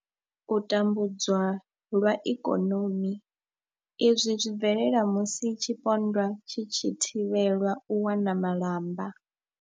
U tambudzwa lwa ikonomi izwi zwi bvelela musi tshipondwa tshi tshi thivhelwa u wana malamba.